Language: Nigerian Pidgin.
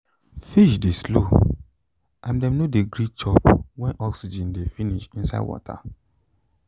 fish de slow and dem no de gree chiop when oxygen de finish inside water